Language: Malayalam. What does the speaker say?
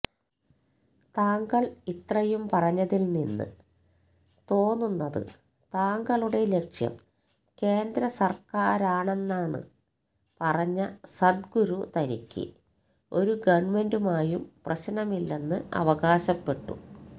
താങ്കള് ഇത്രയും പറഞ്ഞതില് നിന്ന് തോന്നുന്നത് താങ്കളുടെ ലക്ഷ്യം കേന്ദ്രസര്ക്കാരാണെന്നാണെന്നു പറഞ്ഞ സദ്ഗുരു തനിക്ക് ഒരു ഗവണ്മെന്റുമായും പ്രശ്നമില്ലെന്ന് അവകാശപ്പെട്ടു